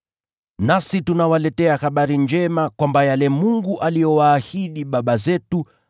“Nasi tunawaletea habari njema, kwamba yale Mungu aliyowaahidi baba zetu